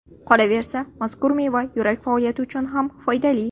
Qolaversa, mazkur meva yurak faoliyati uchun ham foydali.